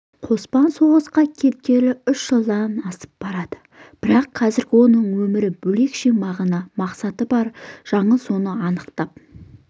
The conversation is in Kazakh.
қоспан соғысқа кеткелі үш жылдан асып барады бірақ қазіргі өмірінің бөлекше мағына-мақсаты бар жаңыл соны анықтап